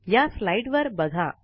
या स्लाईड वर बघा